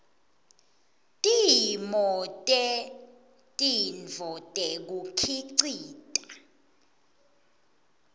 timo tetintfo tekukhicita